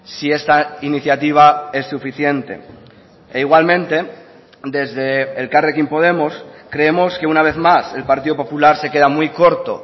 si esta iniciativa es suficiente e igualmente desde elkarrekin podemos creemos que una vez más el partido popular se queda muy corto